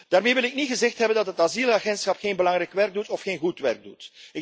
Daarmee wil ik niet gezegd hebben dat het Asielagentschap geen belangrijk werk doet of geen goed werk doet.